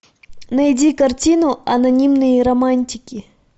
найди картину анонимные романтики